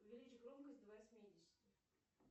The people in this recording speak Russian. увеличь громкость до восьмидесяти